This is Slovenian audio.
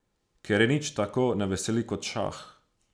Ker je nič tako ne veseli kot šah.